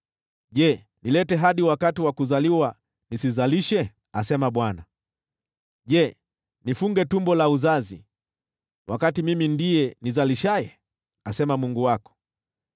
Je, nilete mwana hadi wakati wa kuzaliwa na nisizalishe?” asema Bwana . “Je, nifunge tumbo la uzazi wakati mimi ndiye nizalishaye?” asema Mungu wako.